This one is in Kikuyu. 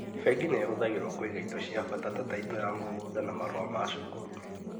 Bengi nihũthagĩrwo kũiga indo cia bata ta taito ya mũgũnda na marũa ma cukuru